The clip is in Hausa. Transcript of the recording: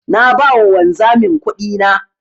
Na ba wa wanzamin kudina.